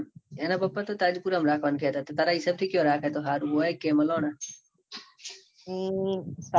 એના પાપા તો સજપુર માં રાખવાનું કેતા હતા. તારા હિસાબ થી કયો રાખવું હારું ઓય કે મલોના